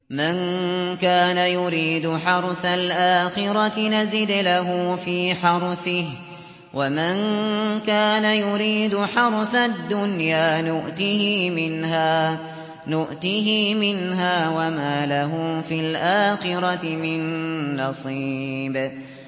مَن كَانَ يُرِيدُ حَرْثَ الْآخِرَةِ نَزِدْ لَهُ فِي حَرْثِهِ ۖ وَمَن كَانَ يُرِيدُ حَرْثَ الدُّنْيَا نُؤْتِهِ مِنْهَا وَمَا لَهُ فِي الْآخِرَةِ مِن نَّصِيبٍ